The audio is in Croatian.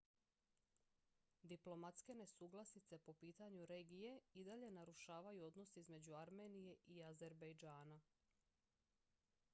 diplomatske nesuglasice po pitanju regije i dalje narušavaju odnose između armenije i azerbejdžana